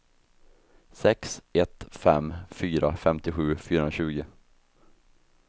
sex ett fem fyra femtiosju fyrahundratjugo